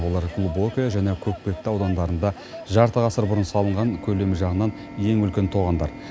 олар глубокое және көкпекті аудандарында жарты ғасыр бұрын салынған көлемі жағынан ең үлкен тоғандар